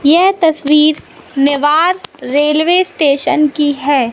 यह तस्वीर Newar railway station की है।